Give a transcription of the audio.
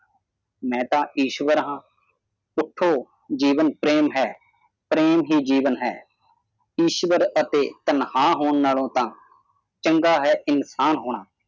ਮੈਂ ਤਾਂ ਇਸ ਤਰ੍ਹਾਂ ਉੱਠੋ ਜੀਵਨ ਪ੍ਰੇਮ ਹੈ ਪ੍ਰੇਮ ਹੀ ਜੀਵਨ ਹੈ ਈਸ਼ਵਰ ਅਤੇ ਤਨਖਾਹ ਹੋਣ ਨਾਲੋਂ ਤਾਂ ਚੰਗਾ ਹੈ ਇਨਸਾਨ ਹੋਣਾ